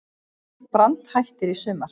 Brand hættir í sumar